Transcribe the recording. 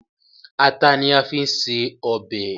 Ata ni a fi ń se ọbẹ̀